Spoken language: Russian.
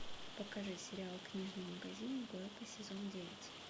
покажи сериал книжный магазин блэка сезон девять